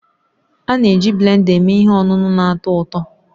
A na-eji blenda eme ihe ọṅụṅụ na-atọ ụtọ